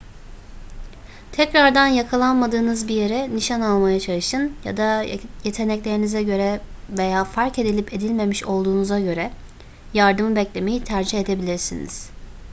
tekrardan yakalanmadığınız bir yere nişan almaya çalışın ya da yeteneklerinize göre veya fark edilip edilmemiş olduğunuza göre yardımı beklemeyi tercih edebilirsiniz